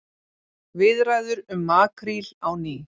Viðræður um makríl á ný